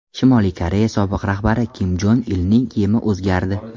Shimoliy Koreya sobiq rahbari Kim Jong Ilning kiyimi o‘zgardi.